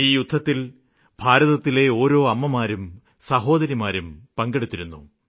ഈ യുദ്ധത്തില് ഭാരതത്തിലെ ഓരോ അമ്മമാരും സഹോദരിമാരും പങ്കെടുത്തിരുന്നു